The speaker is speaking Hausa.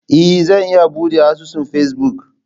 Ee, Zan iya buɗe asusun Facebook.